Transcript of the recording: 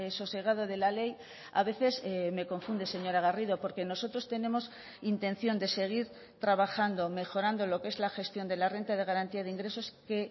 sosegado de la ley a veces me confunde señora garrido porque nosotros tenemos intención de seguir trabajando mejorando lo que es la gestión de la renta de garantía de ingresos que